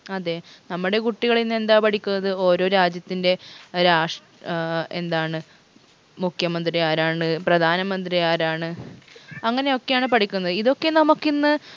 അതെ നമ്മട കുട്ടികളിന്ന് എന്താ പഠിക്കുന്നത് ഓരോ രാജ്യത്തിൻറെ ഏർ രാഷ് ഏർ എന്താണ് മുഖ്യമന്ത്രി ആരാണ് പ്രധാനമന്ത്രി ആരാണ് അങ്ങനെയൊക്കെയാണ് പഠിക്കുന്നത് ഇതൊക്കെ നമുക്കിന്ന്